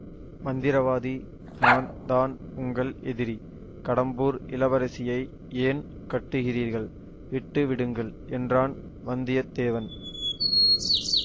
மந்திரவாதி நான் தான் உங்கள் எதிரி கடம்பூர் இளவரசியை ஏன் கட்டுகிறீர்கள் விட்டு விடுங்கள் என்றான் வந்தியத்தேவன்